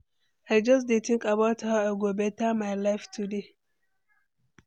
I just dey think about how I go beta my life today.